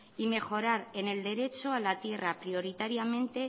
y mejorar en el derecho a la tierra prioritariamente